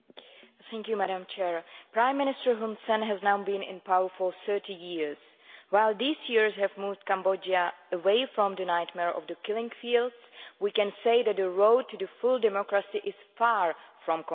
Madam President, Prime Minister Hun Sen has now been in power for 30 years. While these years have moved Cambodia away from the nightmare of the killing fields, we can say that the road to full democracy is far from complete.